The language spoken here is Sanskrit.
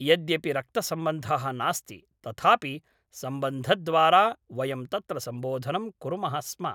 यद्यपि रक्तसंबन्धः नास्ति तथापि संबन्धद्वारा वयं तत्र संबोधनं कुर्मः स्म